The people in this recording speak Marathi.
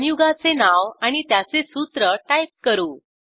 संयुगाचे नाव आणि त्याचे सूत्र टाईप करू